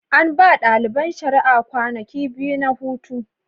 An ba ɗaliban shari'a kwanaki biyu na hutu.